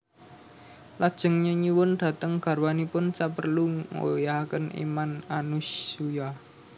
Lajeng nyeyuwun dhateng garwanipun saperlu nggoyahaken iman Anasuya